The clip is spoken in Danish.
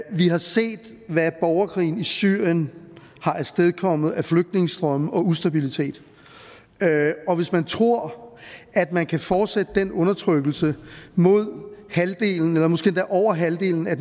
vi har set hvad borgerkrigen i syrien har afstedkommet af flygtningestrømme og ustabilitet hvis man tror at man kan fortsætte den undertrykkelse af halvdelen eller måske endda over halvdelen af